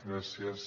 gràcies